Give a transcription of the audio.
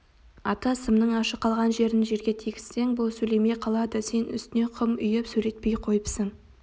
ата сымның ашық қалған жерін жерге тигізсең бұл сөйлемей қалады сен үстіне құм үйіп сөйлетпей қойыпсың